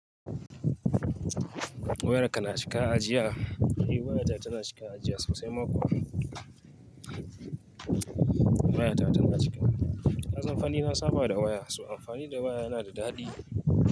Wayarka na cika ajiya? Eh waya ta tana cika ajiya sosai ma kuwa. Waya ta tana cika. Na san fanni na sabawa da waya, su amfani da waya yana da daɗi.